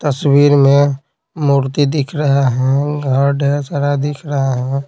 तस्वीर में मूर्ति दिख रहा है घर ढेर सारा दिख रहा है।